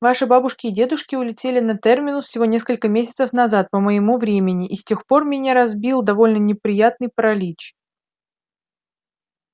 ваши бабушки и дедушки улетели на терминус всего несколько месяцев назад по моему времени и с тех пор меня разбил довольно неприятный паралич